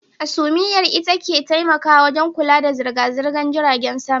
Hasumiyar ita ke taimakawa wajen kula da zirga-zirgan jiragen sama.